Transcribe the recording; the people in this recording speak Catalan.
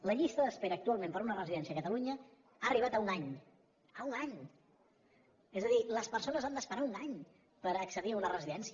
la llista d’espera actualment per una residència a catalunya ha arribat a un any a un any és a dir les persones s’han d’esperar un any per accedir a una residència